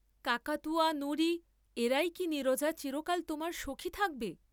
কাকাতুয়া নুরী এরাই কি নীরজা চিরকাল তোমার সখী থাকবে?